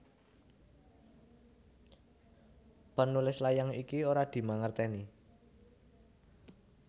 Penulis layang iki ora dimangertèni